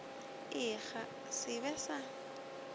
ik ga se be sa